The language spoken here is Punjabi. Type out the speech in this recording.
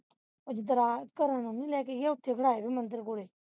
ਅਜ ਦਰਾ ਘਰਾਂ ਨੂੰ ਨਹੀਂ ਲੈ ਕੇ ਗਿਆ ਓਥੇ ਖੜਾਏ ਹੋਏ ਮੰਦਰ ਕੋਲੇ